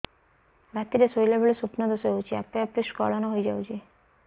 ରାତିରେ ଶୋଇଲା ବେଳେ ସ୍ବପ୍ନ ଦୋଷ ହେଉଛି ଆପେ ଆପେ ସ୍ଖଳନ ହେଇଯାଉଛି